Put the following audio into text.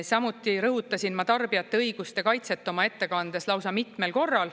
Samuti rõhutasin ma tarbijate õiguste kaitset oma ettekandes lausa mitmel korral.